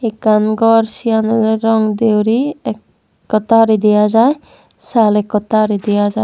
ekkan gor siyan ole rong de guri ekkota guri dega jai saal ekkota guri dega jai.